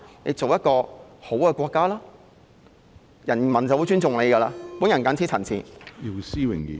成為一個好的國家，人民便會由心而發地尊重它。